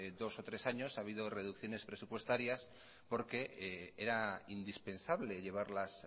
dos o tres años ha habido reducciones presupuestarias porque era indispensable llevarlas